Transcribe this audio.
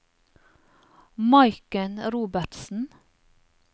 Maiken Robertsen